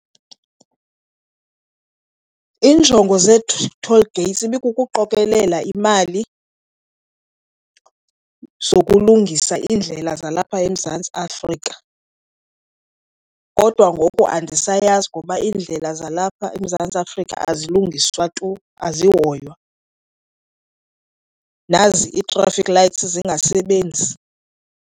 Iinjongo toll gates ibikukuqokelela imali zokulungisa iindlela zalapha eMzantsi Afrika. Kodwa ngoku andisayazi ngoba iindlela zalapha eMzantsi Afrika azilungiswa tu azihoywa, nazi ii-traffic lights zingasebenzi.